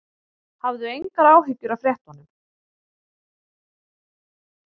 Hafðu engar áhyggjur af fréttunum.